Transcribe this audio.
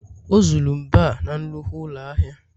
o zuru mbo a na nnukwu ụlọ ahịa